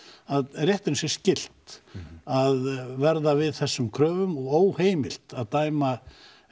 að réttinum sé skylt að verða við þessum kröfum og óheimilt að dæma